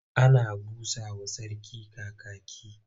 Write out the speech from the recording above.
Ana busa wa Sarki Kakaki.